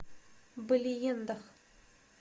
балеендах